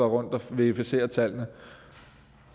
rundt og verificere tallene